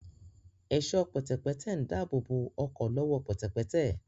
Ẹ̀ṣọ́ pẹ̀tẹ̀pẹ́tẹ̀ ń dáàbòbò ọkọ̀ lọ́wọ́ pẹ̀tẹ̀pẹ́tẹ̀